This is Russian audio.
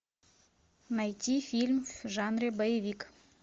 найти фильм в жанре боевик